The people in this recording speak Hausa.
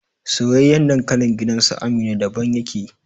Soyayyen dankalin gidansu Amina daban yake